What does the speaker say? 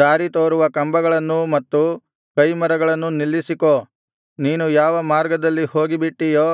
ದಾರಿ ತೋರುವ ಕಂಬಗಳನ್ನೂ ಮತ್ತು ಕೈಮರಗಳನ್ನೂ ನಿಲ್ಲಿಸಿಕೋ ನೀನು ಯಾವ ಮಾರ್ಗದಲ್ಲಿ ಹೋಗಿಬಿಟ್ಟಿಯೋ